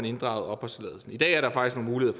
inddraget opholdstilladelsen i dag er der faktisk nogle